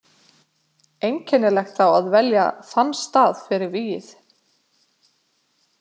Einkennilegt þá að velja þann stað fyrir vígið.